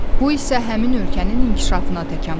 Bu isə həmin ölkənin inkişafına təkan verir.